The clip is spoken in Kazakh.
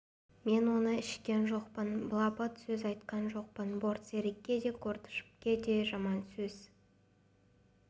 мен оны ішкен жоқпын мен былапыт сөз айтқан жоқпын бортсерікке де коктышевке де жаман сөз